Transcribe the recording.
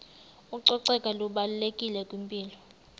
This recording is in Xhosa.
ucoceko lubalulekile kwimpilo